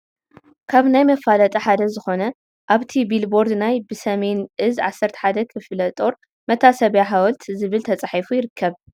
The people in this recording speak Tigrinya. ካብ ናይ መፋለጢ ሓደ ዝኾነ ኣብቲ ቢል ቦርድ ናይ " በሰሜን ዕዝ የ11ኛ ክፍለ ጦር መታሰቢያ ሃወልት " ዝብል ተፃሒፉ ይርከብ፡፡